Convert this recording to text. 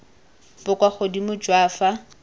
bo kwa godimo jwa fa